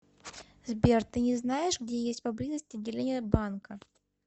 сбер ты не знаешь где есть поблизости отделение банка